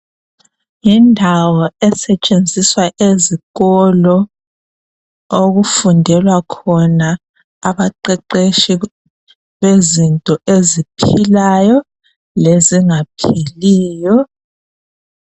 Yindawo esetshenziswa ezikolo okufundela khona abaqeqeshi bezinto eziphilayo lezinga philiyo.